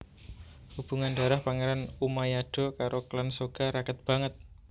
Hubungan darah Pangeran Umayado karo klan Soga raket banget